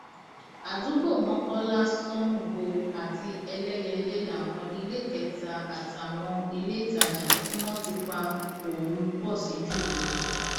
àdúgbò mokola sango àti eléyẹlé láwọn iléekétà àtàwọn iléètajà tí wọn ti pa ohùn pọ sí jù lọ